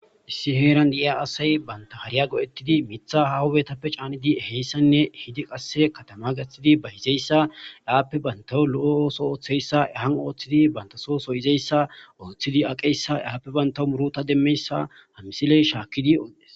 Issi diza asay hariyan go'etidii mitha hahuwappe ehizaysanne ehidi qase ehidi katama gathidi bayiziyasa appe bantas lo'o othiyaysa baso so yizaysa yidi aqiyasa yappe banta murutay demiyasa ha misiley shakidi odes